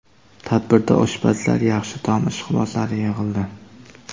Tadbirda oshpazlar, yaxshi taom ishqibozlari yig‘ildi.